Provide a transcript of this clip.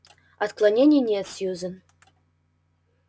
отклонений нет сьюзен